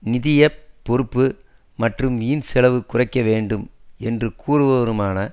நிதிய பொறுப்பு மற்றும் வீண் செலவைக் குறைக்க வேண்டும் என்று கூறுபவருமான